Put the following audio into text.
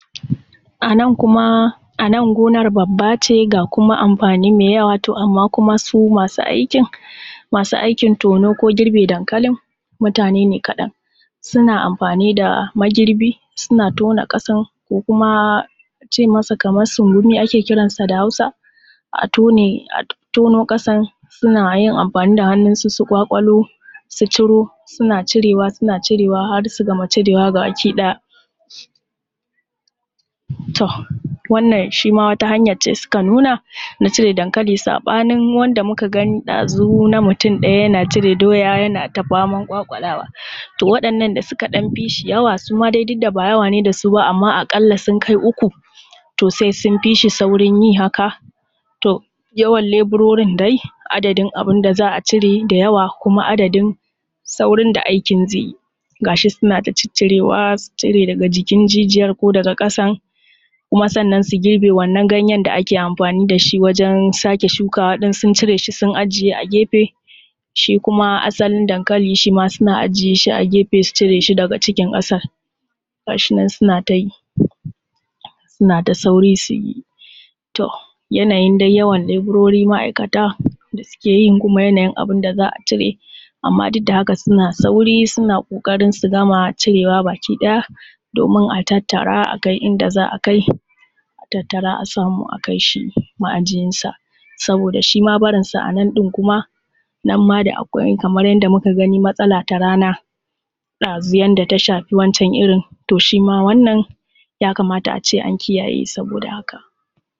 Anan kuma, anan gonar babba ce ga kuma amfani mai yawa amma kuma su masu aikin, masu aikin tono ko girbin dankalin mutane ne kaɗan. Suna amfani da magirbi suna tona ƙasan ko kuma a ce masa kamar sungumi ake ce masa kamar da Hausa, a tone, a tono ƙasan, suna yin amfani da hannunsu su ƙwaƙwalo, su ciro, suna cire wa, suna cire wa har su gama cire wa baki ɗaya. To, wannan shi ma wata hanyar ce suka nuna na cire dankali saɓanin wanda muka gani na mutum ɗaya ɗazu yana cire siya yana ta faman ƙwaƙulawa. To waɗannan da suka ɗan fishi yawa suma dai duk da ba yawa ne da su ba amma aƙalla sun kai uku to sai sun fishi saurin yi haka, to yawan leburorin dai, adadin abin da za a cire da yawa kuma adadin saurin da aikin zai yi. Ga shi suna ta ciccirewa, su cire daga jikin jijiyar ko daga ƙasan, kuma sannan su girbe wannan ganyen da ake amfani da shi wajen sake shukawa. In sun cire shi sun ajiye a gefe, shi kuma asalin dankali shima suna ajiye shi a gefe su cire shi daga cikin ƙasar, gashi nan suna ta yi suna ta sauri su yi. To yanayin dai yawan leburori ma'aikata da suke yin kuma yanayin abin da za su cire amma duk da haka suna sauri suna ƙoƙarin su gama cire wa baki ɗaya domin a tattara a kai inda za a kai, a tattara a samu a kai shi ma'ajiyansa. Saboda shima barinsa anan ɗin kuma nan ma da akwai kamar yanda muka gani matsala ta rana ɗazu yanda ta shafi wancan irin to shima wannan ya kamata a ce an kiyaye saboda haka.